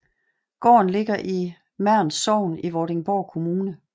Gården ligger i Mern Sogn i Vordingborg Kommune